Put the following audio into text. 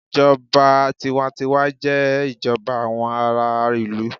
Ìjọba tiwa n tiwa jé ìjọba àwọn ará ìlú